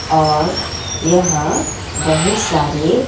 और यहां बहुत सारे--